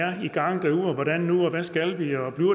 i gang